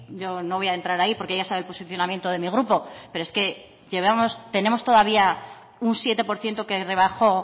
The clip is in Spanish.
yo no voy a entrar ahí porque ya sabe el posicionamiento de mi grupo pero es que llevamos tenemos todavía un siete por ciento que rebajó